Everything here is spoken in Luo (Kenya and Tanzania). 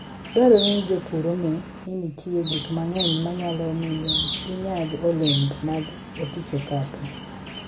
Dwarore ni jopur ong'e ni nitie gik mang'eny manyalo miyo ginyag olembe mag opich okapu.